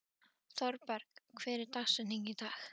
Thorberg, hver er dagsetningin í dag?